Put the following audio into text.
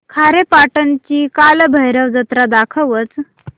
खारेपाटण ची कालभैरव जत्रा दाखवच